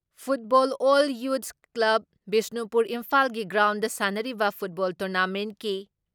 football L youths club Bishnupur, ꯏꯝꯐꯥꯜꯒꯤ ground ꯁꯥꯟꯅꯔꯤꯕ football ꯇꯣꯔꯅꯥꯃꯦꯟꯀꯤ